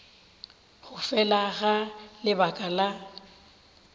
go fela ga lebaka la